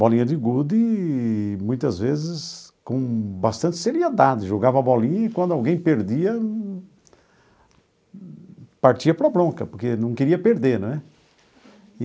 Bolinha de gude e, muitas vezes, com bastante seriedade, jogava a bolinha e, quando alguém perdia, partia para a bronca, porque não queria perder, não é?